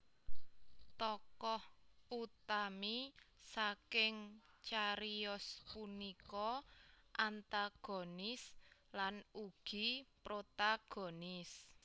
Tokoh utami saking cariyos punika antagonis lan ugi protagonis